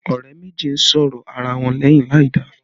Ọ̀rẹ́ méjì ń sọ̀rọ̀ ara wọn lẹ́yìn láìda